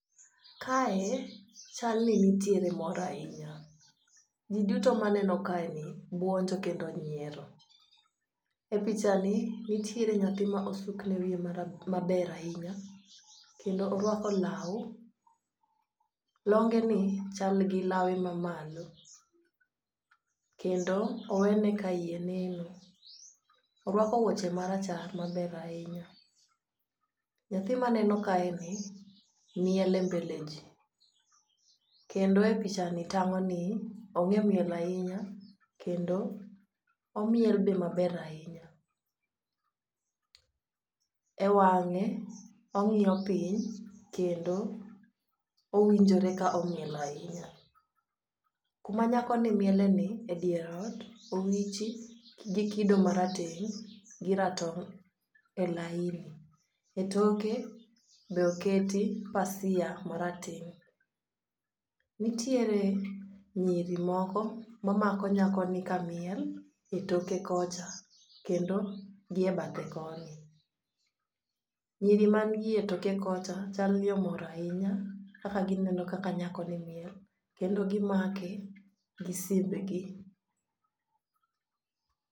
Kae chalni nitiere mor ahinya. Ji duto maneno kaeni buonjo kendo nyiero. E pichani nitiere nyathi ma osukne wiye maber ahinya kendo orwako law. Longeni chal gi lawe mamalo, kendo owene ka iye neno. Orwako wuoche marachar maber ahinya, nyathi maneno kaeni miel e mbele ji, kendo e pichani tang'oni ong'e miel ahinya kendo omiel be maber ahinya. E wang'e, ong'iyo piny kendo owinjore ka omiel ahinya. Kuma nyakoni mieleni,e dier ot, owichi gi kido marateng' gi ratong' e laini . E toke be oketi pasia marateng'. Nitiere nyiri moko mamako nyakoni kamiel e toke kocha kendo gi e bathe koni. Nyiri manigi gi etoke kocha chal ni omor ahinya kaka gineno kaka nyakoni miel kendo gimake gi simbegi.